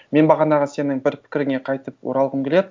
мен бағанағы сенің бір пікіріңе қайтып оралғым келеді